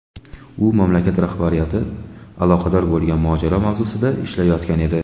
U mamlakat rahbariyati aloqador bo‘lgan mojaro mavzusida ishlayotgan edi.